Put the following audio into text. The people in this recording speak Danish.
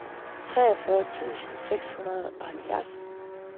treogfyrre tusind seks hundrede og halvfjerds